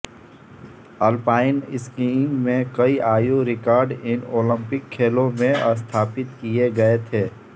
alpine skiing में कई आयु रिकॉर्ड इन ओलंपिक खेलों में स्थापित किए गए थे